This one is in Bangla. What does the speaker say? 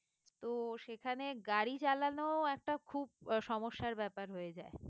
তো সেখানে গাড়ি চালানো একটা খুব আহ সমস্যার ব্যাপার হয়ে যায়